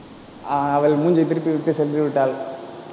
ஆஹ் அவள் மூஞ்சியை திருப்பிவிட்டு சென்றுவிட்டாள்.